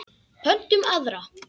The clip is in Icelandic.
Pöntum aðra.